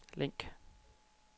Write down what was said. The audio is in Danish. link